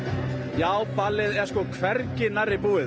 já ballið er hvergi nærri búið